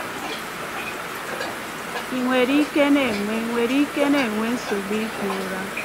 Ị nwere ike na-enwe nwere ike na-enwe nsogbu ihi ụra?